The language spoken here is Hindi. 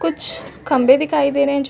कुछ खंभे दिखाई दे रहे है जो--